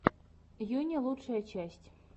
юни лучшая часть